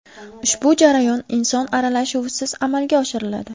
Ushbu jarayon inson aralashuvisiz amalga oshiriladi.